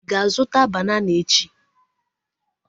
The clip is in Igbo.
Ị ga-azụta banana echi?